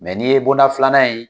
Ni ye bonda filanan in